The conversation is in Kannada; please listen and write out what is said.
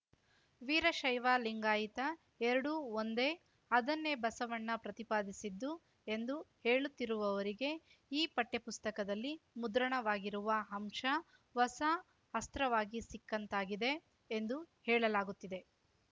ವೀರಶೈವ ಲಿಂಗಾಯಿತ ಎರಡೂ ಒಂದೇ ಅದನ್ನೇ ಬಸವಣ್ಣ ಪ್ರತಿಪಾದಿಸಿದ್ದು ಎಂದು ಹೇಳುತ್ತಿರುವವರಿಗೆ ಈ ಪಠ್ಯಪುಸ್ತಕದಲ್ಲಿ ಮುದ್ರಣವಾಗಿರುವ ಅಂಶ ಹೊಸ ಅಸ್ತ್ರವಾಗಿ ಸಿಕ್ಕಂತಾಗಿದೆ ಎಂದು ಹೇಳಲಾಗುತ್ತಿದೆ